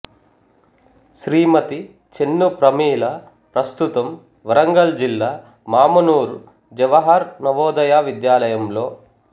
శ్రీమతి చెన్ను ప్రమీల ప్రస్తుతం వరంగల్ జిల్లా మామునూరు జవహర్ నవోదయ విద్యాలయంలో